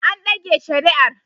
An dage shari'ar